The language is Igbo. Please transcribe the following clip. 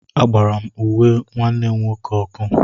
Agbara m uwe nwanne m nwoke ọkụ.